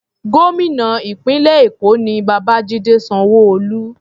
Gómìnà ìpínlẹ̀ Èkó ni Babajide Sanwo-Olu.